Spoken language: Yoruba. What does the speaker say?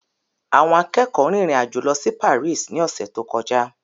Àwọn akẹ́kọ̀ọ́ rìnrìn àjò lọ sí Paris ní ọ̀sẹ̀ tó kọjá.